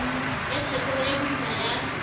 e theko e boima ya